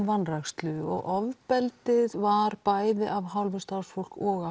vanrækslu og ofbeldið var bæði af hálfu starfsfólks og